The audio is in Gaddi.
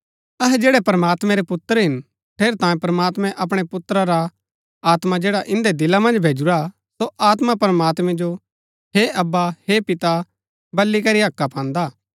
अहै जैड़ै प्रमात्मैं रै पुत्र हिन ठेरैतांये प्रमात्मैं अपणै पुत्र रा आत्मा जैड़ा इन्दै दिला मन्ज भैजुरा हा सो आत्मा प्रमात्मैं जो हे अब्बा हे पिता बल्ली करी हक्का पान्दा हा